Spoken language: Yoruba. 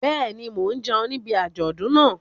Bẹ́ẹ̀ ni, mo jẹun níbi àjọ̀dún náà.